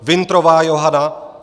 Wintrová Johana